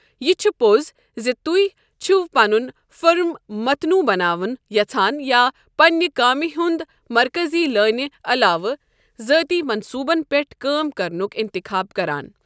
یہِ چھُ پوٚز زِ تُہۍ چھِوٕ پنُن فرم متنوع بناوُن یَژان یا پننہِ کامہِ ہُنٛد مرکٔزی لٲنہِ علاوٕ ذٲتی منصوٗبَن پٮ۪ٹھ کٲم کرنُک انتخاب کران۔